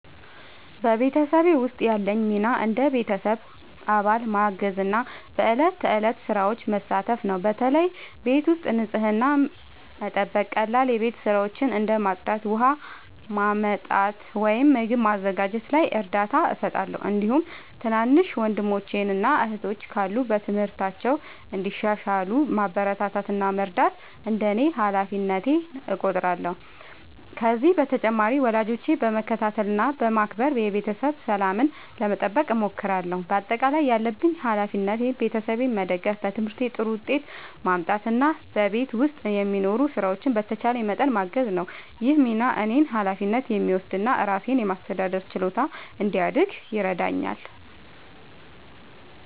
በቤተሰቤ ውስጥ ያለኝ ሚና እንደ ቤተሰብ አባል ማገዝና በዕለት ተዕለት ሥራዎች መሳተፍ ነው። በተለይ ቤት ውስጥ ንጽህናን መጠበቅ፣ ቀላል የቤት ሥራዎችን እንደ ማጽዳት፣ ውሃ ማመጣት ወይም ምግብ ማዘጋጀት ላይ እርዳታ እሰጣለሁ። እንዲሁም ትናንሽ ወንድሞችና እህቶች ካሉ በትምህርታቸው እንዲሻሻሉ ማበረታታት እና መርዳት እንደ ሃላፊነቴ እቆጥራለሁ። ከዚህ በተጨማሪ ወላጆቼን በመከታተል እና በማክበር የቤተሰብ ሰላምን ለመጠበቅ እሞክራለሁ። በአጠቃላይ ያለብኝ ሃላፊነት ቤተሰቤን መደገፍ፣ በትምህርቴ ጥሩ ውጤት ማምጣት እና በቤት ውስጥ የሚኖሩ ሥራዎችን በተቻለኝ መጠን ማገዝ ነው። ይህ ሚና እኔን ኃላፊነት የሚወስድ እና ራሴን የማስተዳደር ችሎታ እንዲያድግ ይረዳኛል።